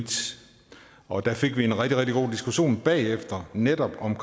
og der fik vi en rigtig rigtig god diskussion bagefter netop om